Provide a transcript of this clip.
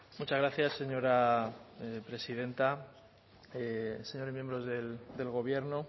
muchas gracias señora presidenta señores miembros del gobierno